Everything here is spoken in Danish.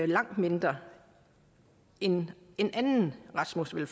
langt mindre end den rasmus ville